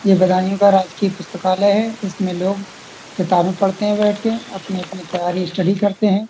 ये बदायूँ का राजकीय पुस्तकालय है। इसमें लोग किताबें पढ़ते हैं बैठके । अपनी अपनी तैयारी स्टडी करते हैं।